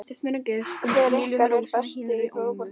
Hver ykkar er bestur í fótbolta?